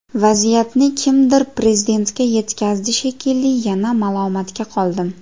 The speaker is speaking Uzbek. Vaziyatni kimdir Prezidentga yetkazdi shekilli, yana malomatga qoldim.